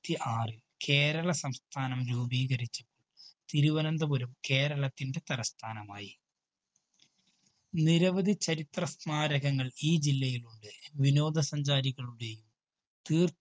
ത്തി ആറ് കേരള സംസ്ഥാനം രൂപീകരിച്ചു. തിരുവനന്തപുരം കേരളത്തിൻറെ തലസ്ഥാനമായി. നിരവധി ചരിത്ര സ്മാരകങ്ങള്‍ ഈ ജില്ലയിലുണ്ട്. വിനോദ സഞ്ചാരികളുടെയും തീര്‍